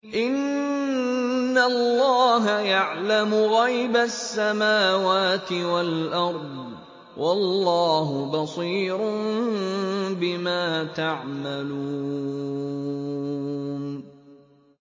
إِنَّ اللَّهَ يَعْلَمُ غَيْبَ السَّمَاوَاتِ وَالْأَرْضِ ۚ وَاللَّهُ بَصِيرٌ بِمَا تَعْمَلُونَ